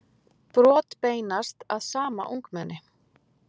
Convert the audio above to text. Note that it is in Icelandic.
Brot beinast að sama ungmenni